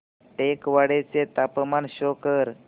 टेकवाडे चे तापमान शो कर